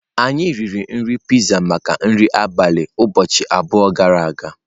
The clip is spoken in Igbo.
Anyị riri pizza maka nri abalị ụbọchị abụọ gara aga.